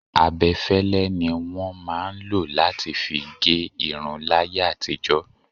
Abẹ́fẹ́lẹ́ ni wọn máa ń lo láti fi gé irun láyé àtijó.